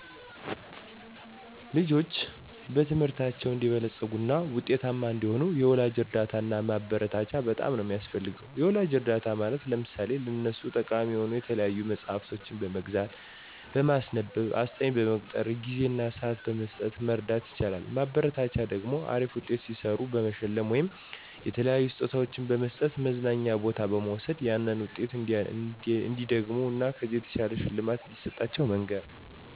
ልጆች በትምህርታቸው አንዲበለጽጉ እና ውጤታማ እንዲሆኑ የወላጅ እርዳታ እና ማበረታቻ በጣም ነው ሚያስፈልጋቸው። የወላጅ እርዳታ ማለት ለምሳሌ ለነሱ ጠቃሚ የሆኑ የተለያዩ መፅሐፍቶችን በመግዛት፣ በማስነበብ፣ አስጠኝ በመቅጠር፣ ጊዜ እና ስዓት በመስጠት መርዳት ይቻላል። ማበረታቻ ደግሞ አሪፍ ውጤት ሲሰሩ በመሸለም ወይም የተለያዩ ስጦታዎችን በመስጠት፣ መዝናኛ ቦታ በመውሰድ ያንን ውጤት እንዲደግሙት እን ከዚህ በላይ ሽልማት እንደሚሰጣቸው መንገር